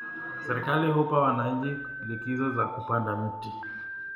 Serikali hupa wananchi likizo ya kupanda mti